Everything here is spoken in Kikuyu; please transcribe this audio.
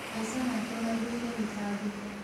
Maica make maihũire mĩtangĩko